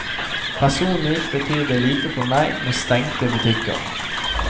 Personlig betyr det lite for meg med stengte butikker.